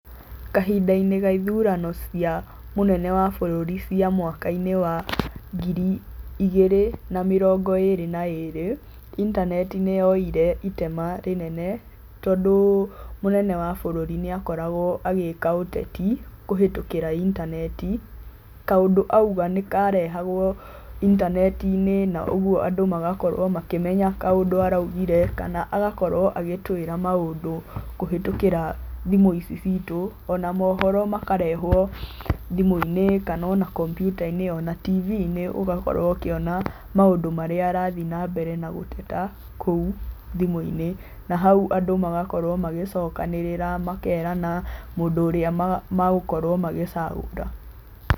Kahindainĩ ka ithurano cia mũnene wa bũrũri cia mwakainĩ wa ngiri igĩrĩ na mĩrongo ĩrĩ na ĩrĩ, intaneti nĩyoire itema inene tondũ mũnene wa bũrũri nĩakoragwo agĩka ũteti kũhĩtũkĩra intaneti kaũndũ auga nĩkarehagwo intanetinĩ na ũguo andũ magakorwo makĩmenya kaũndũ araugire kana agakorwo agĩtwĩraa maũndũ kũhĩtũkĩra thimũ ici citũ ona mohoro makarehwo thimũinĩ kana ona kompyutainĩ kana tiviinĩ ũgakorwo ũkĩona maũndũ marĩa arathii na mbere na gũteta kũu thimũinĩ na hau andũ magakorwo magĩcokanĩrĩra makerana mũndũ ũrĩa megũkorwo magĩcagũra.